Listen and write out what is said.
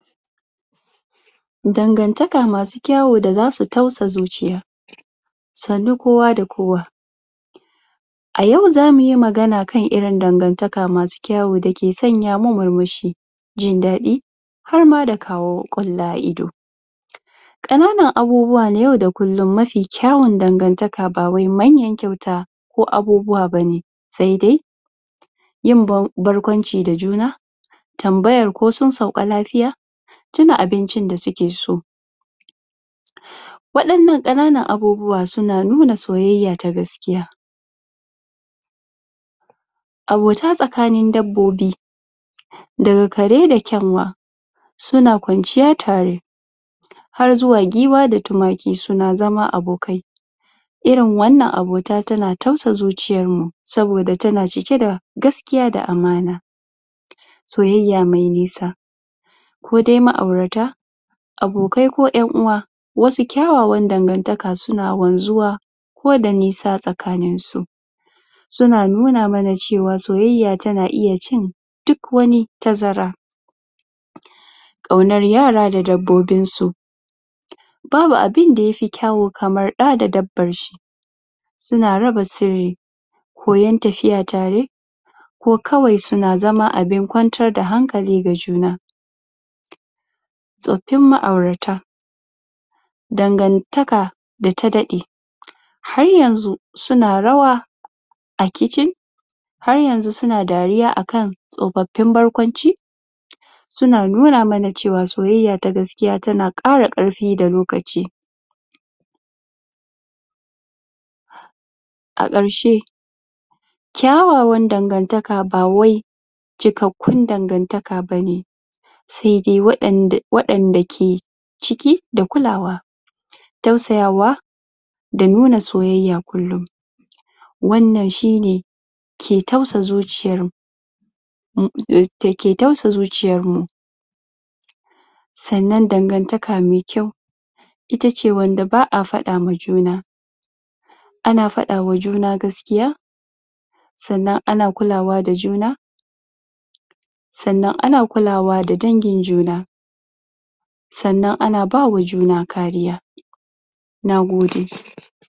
Dangantaka masu kyawo da za su tausa zuciya. Sannu kowa da kowa. A yau zamu yi magana kan irin dangantaka masu kyawo da ke sanya mu mur-mushi, jin daɗi har ma da kawo ƙwalla a ido. Ƙananan abubuwa na yau da kullum mafi kyawon dangantaka ba wai manya kyauta ko abubuwa bane, sai dai yin barƙwancin da juna, tambayar ko sun sauka lafiya, tuna abincin da suke so, waɗannan ƙananan abubuwa su na nuna soyayya ta gaskiya. Abota tsakanin dabbobi daga kare da kyanwa su na kwanciya tare. Har zuwa giwa da tumaki su na zama abokai Irin wannan abota ta na tausa zuciyar mu, saboda ta na cike da gaskiya da amana. Soyayya mai nisa kodai ma'aurata, abokai ko ƴan-uwa wasu kyawawan dangantaka su na wanzuwa, ko da nisa tsakanin su. Su na nuna mana cewa soyayya ta na iya cin duk wani tazara. Ƙaunar yara da dabbobin su. Babu abinda yafi kyawo kamar ɗa da dabbar shi, su na raba sirri. Koyon tafiya tare ko kawai su na zama abin kwantar da hankali ga juna. Tsoffin ma'urata, dangantaka da ta daɗe, har yanzu su na rawa a kitchen, har yanzu su na dariya akan tsofaffin barkwanci, su na nuna mana cewa soyayya ta gaskiya ta na ƙara ƙarfi da lokaci. A ƙarshe, kyawawan dangantaka ba wai cikakkun dangantaka bane, sai dai waɗanda, waɗanda ke cike da kulawa, tausayawa, da nuna soyayya kulum. Wannan shi ne ke tausa zuciyar mu mu da ke tausa zuciyar mu. Sannan dangantaka mai kyau ita ce wanda ba'a faɗa ma juna ana faɗawa juna gaskiya sannan ana kulawa da juna sannan ana kulawa da dangin juna sannan ana bawa juna kariya. Nagode!